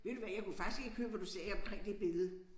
Ved du hvad jeg kunne faktisk ikke høre hvad du sagde omkring det billede